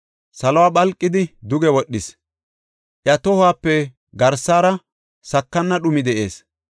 Saluwa phalqidi duge wodhis; iya tohuwape garsara sakana dhumi de7ees.